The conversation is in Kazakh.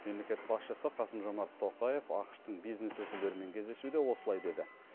мемлекет басшысы қасым жомарт тоқаев ақш тың бизнес өкілдерімен кездесуде осылай деді